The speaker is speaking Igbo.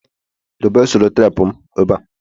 debe selotepu m eba